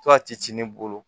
To a ti ne bolo